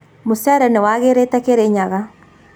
Mucere nĩwagĩrĩte Kirinyaga